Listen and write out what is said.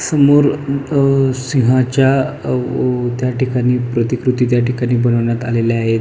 समोर अ सिंहाच्या अ व त्याठिकाणी प्रतिकृती त्याठिकाणी बनवण्यात आलेले आहेत.